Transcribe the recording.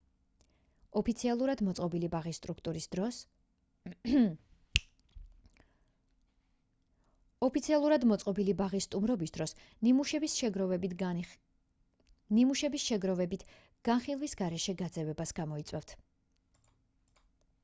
ოფიციალურად მოწყობილი ბაღის სტუმრობის დროს ნიმუშების შეგროვებით განხილვის გარეშე გაძევებას გამოიწვევთ